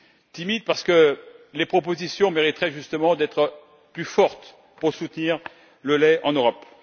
Timide parce que les propositions mériteraient justement d'être plus fortes pour soutenir le lait en Europe.